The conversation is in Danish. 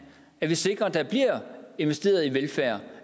at vi sikrer at der bliver investeret i velfærd